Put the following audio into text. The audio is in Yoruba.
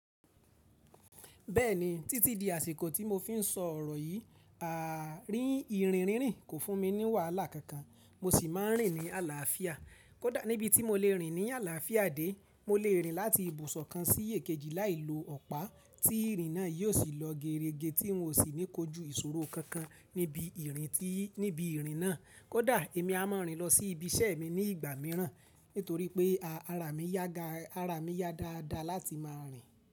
Bẹ́ẹ̀ni, títí di àsìkò tí mo fi ń sọ ọ̀rọ̀ yìí, rín ìrìn rínrin kò fún mi ní wàhálà kankan, mo sì máa ń rìn ní àlàáfíà. Kódà níbi tí mo lè rìn ní àlàáfíà dé, mo lè rìn láti ibùsọ̀ kan sí èkejì láì lo ọ̀pá, tí ìrìn náà yóò sì lọ geerege tí n ò ní kójú ìṣòro kankan níbi ìrìn náà. Kódà èmi a máa rìn lọ sí ibi iṣẹ́ mi ní ìgbà mìíràn nítorí pé ara mi yá dáadáa láti máa rìn.